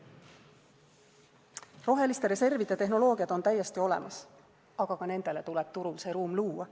Roheliste reservide tehnoloogiad on täiesti olemas, aga ka nendele tuleb turul see ruum luua.